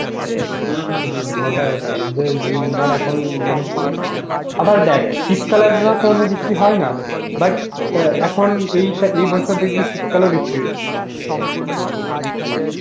হম হম হম হম ওটাই ওটাই যে উম ধর এখন উম মানে আ আবার দেখ শীতকালে কোনদিন বৃষ্টি হয়না but আ এখন এইটা এই বছর দেখবি শীতকালেও বৃতি হয়েছিল